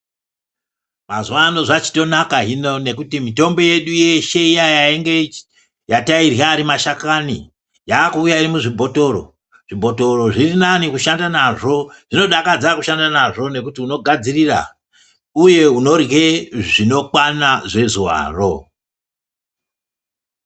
Mazuvano zvachitonaka hino nekuti mitombo yedu yeshe iyaiya yatairya ari mashakani yaakuuya iri muzvibhotoro. Zvibhotoro zvirinani kushanda nazvo zvinodakadza kushanda nazvo nekuti unogadzirira uye unorye zvinokwana zvezuvaro.